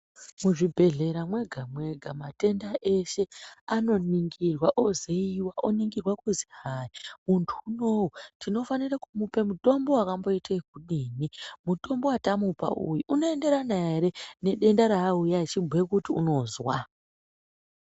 Muzvibhedhlera mwega-mwega matenda eshe anoningirwa oziiwa. Oningirwa kuzi hai muntu unou tinofanire kumupe mutombo wakamboite ekudini. Mutombo wetamupa uyu unoenderana ere nedenda raauya echibhuya kuti unozwa.